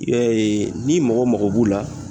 ee ni mɔgɔ mago b'u la